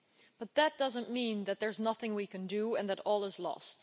But that doesn't mean that there's nothing we can do and that all is lost.